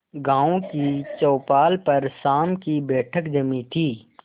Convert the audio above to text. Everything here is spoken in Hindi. गांव की चौपाल पर शाम की बैठक जमी थी